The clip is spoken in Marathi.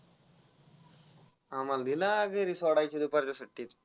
आम्हाला दिला घरी सोडायचे दुपारच्या सुट्टीत.